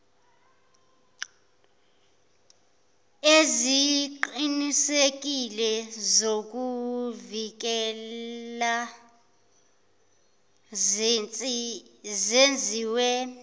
eziqinisekile zokuluvikela zenziwe